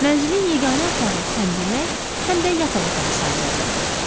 Mənzilin yeganə otağı həm yemək, həm də yataq otağı sayılırdı.